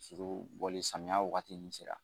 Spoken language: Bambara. bɔli samiyan wagatinin sera.